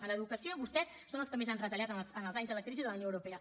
en educació vostès són els que més han retallat en els anys de la crisi de la unió europea